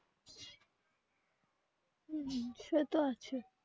হম হম সে তো আছে.